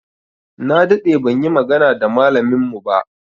Na daɗe ban yi magana da malamin mu ba.